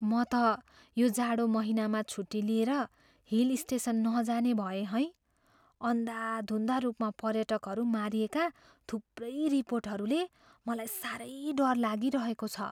म त यो जाडो महिनामा छुट्टी लिएर हिल स्टेसन नजाने भएँ है। अन्धाधुन्ध रूपमा पर्यटकहरू मारिएका थुप्रै रिपोर्टहरूले मलाई साह्रै डर लागिरहेको छ।